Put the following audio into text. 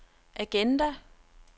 agenda